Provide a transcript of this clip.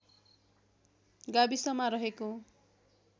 गाविसमा रहेको